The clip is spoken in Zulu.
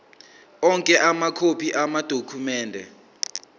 onke amakhophi amadokhumende